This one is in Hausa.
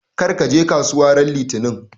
Kar ka je kasuwa ran Litinin!